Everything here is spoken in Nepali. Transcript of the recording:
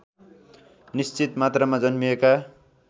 निश्चित मात्रामा जन्मिएका